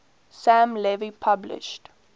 sam levy published